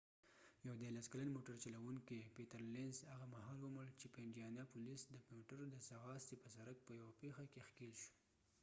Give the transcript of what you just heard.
پیټرلینز peter lenzیو 13 کلن موټر چلوونکې هغه مهال ومړ چې په انډیانا پولیس د موټرو د ځغاستې په سرک په یوه پیښه کې ښکېل شو